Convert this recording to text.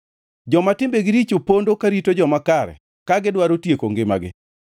Joma timbegi richo pondo karito joma kare ka gidwaro tieko ngimagi;